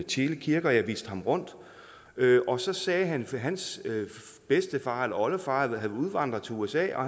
tjele kirke jeg viste ham rundt og så sagde han at hans bedstefar eller oldefar var udvandret til usa og